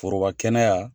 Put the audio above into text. Foroba kɛnɛ ya